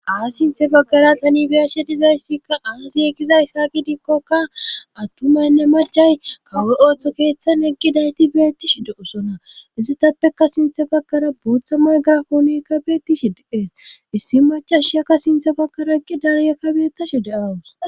Sinthe bagkara tani biyashe dizayssikka aasiyegizayssa gidikkokka attumaynne macay kawo7e ooththo keeththan heqgidayti beettishi de7osona izi tappeka sinthe bakara buuththa maygarafoonekka beettishi deees issi macashiakka sinthe bakkara qi dariya kabeettashe de7awus